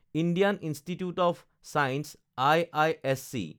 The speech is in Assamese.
Indian institute of science (IISc)